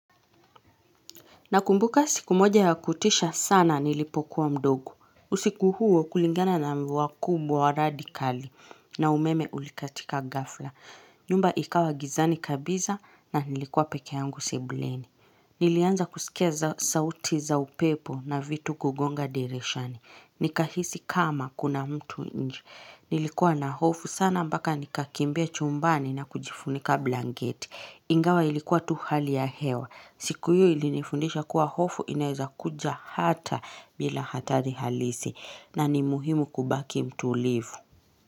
Na kumbuka siku moja ya kutisha sana nilipokuwa mdogo. Usiku huo kulingana na mwakubu wa radikali na umeme ulikatika ghafla. Nyumba ikawa gizani kabiza na nilikuwa peke yangu sebuleni. Nilianza kusikeza sauti za upepo na vitu kugonga dirishani. Nikahisi kama kuna mtu nje Nilikuwa na hofu sana mbaka nikakimbia chumbani na kujifunika blanketi. Ingawa ilikuwa tu hali ya hewa. Siku hiyo ilinifundisha kuwa hofu inaeza kuja hata bila hatari halisi na ni muhimu kubaki mtuulivu.